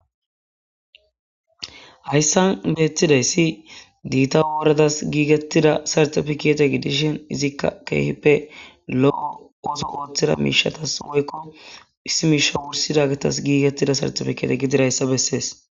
hayssan beettiday si diita woradas giigettida sartafikete gidishin izikka keehippe lo7o oso ooththida miishatas oykko issi miisha wursida gitas giigettida sartefikete gidiraayssa bessees